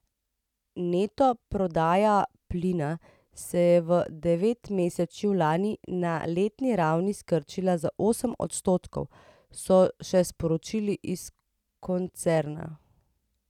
Neto prodaja plina se je v devetmesečju lani na letni ravni skrčila za osem odstotkov, so še sporočili iz koncerna.